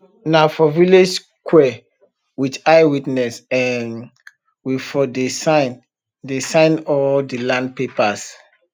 nah for village sqare wit eye witness um we for dey sign dey sign all de land papers